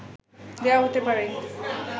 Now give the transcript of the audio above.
দেয়া হতে পারে